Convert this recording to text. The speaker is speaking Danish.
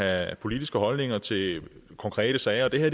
af at have politiske holdninger til konkrete sager det her